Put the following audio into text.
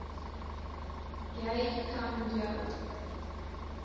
jy kan jou